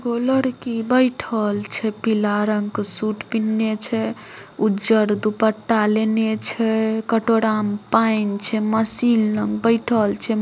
एगो लड़की बैठएल छै पिला रंग के सूट पहनले छै उज्जर दुपट्टा लेने छै कटोरा में पाऐन छै मशीन लंग बैठल छै।